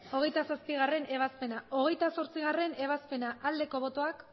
hogeita zazpigarrena ebazpena hogeita zortzigarrena ebazpena aldeko botoak